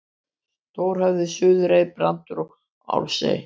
Stórhöfði, Suðurey, Brandur og Álfsey.